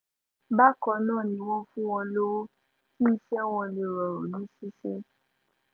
bákan náà ni wọ́n fún wọn lọ́wọ́ kí iṣẹ́ wọn lè rọrùn ní ṣíṣe